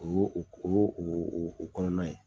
O y'o o kɔnɔna ye